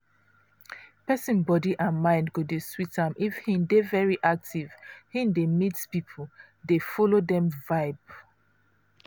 persin body and mind go dey sweet am if hin dey very active hin dey meet people dey follow dem vibe.